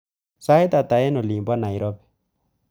Sait hata eng olin bo nairobi